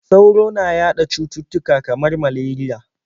Sauro na yaɗa cututtuka kamar malariya.